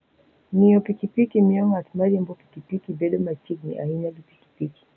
Ng'iyo pikipiki miyo ng'at mariembo pikipiki bedo machiegni ahinya gi pikipiki.